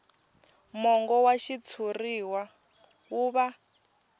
mongo wa xitshuriwa wu va